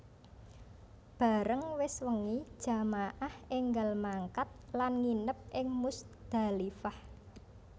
Bareng wis wengi jamaah énggal mangkat lan nginep ing Muzdalifah